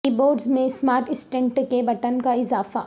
کی بورڈز میں smart assistant کے بٹن کا اضافہ